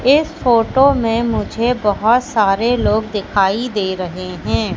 इस फोटो में मुझे बहोत सारे लोग दिखाई दे रहे हैं।